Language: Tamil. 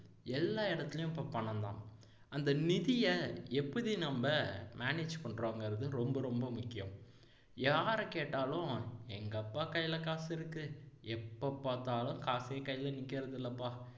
எல்லா இடத்துலயும் இப்போ பணம்தான் அந்த நிதியை எப்படி நம்ம manage பண்றோங்கிறது ரொம்ப ரொம்ப முக்கியம் யாரை கேட்டாலும் எங்க அப்பா கையில காசுருக்கு எப்போ பாத்தாலும் காசே கையில நிக்கிறதில்லைப்பா